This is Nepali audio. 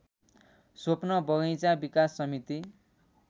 स्वप्न बगैंचा विकास समिति